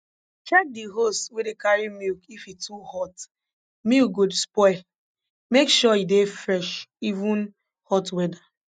check di hose wey dey carry milk if e too hot milk go spoil make sure e dey fresh even hot weather